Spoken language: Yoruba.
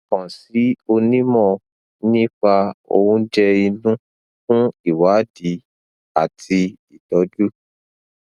kàn sí onímọ nípa oúnjẹ inú fún ìwádìí àti ìtọjú